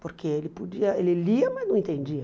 Porque ele podia, ele lia, mas não entendia.